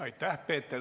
Aitäh!